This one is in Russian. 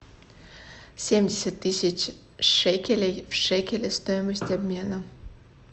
семьдесят тысяч шекелей в шекели стоимость обмена